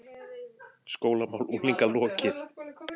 SKÓLAMÁL UNGLINGA LOKIÐ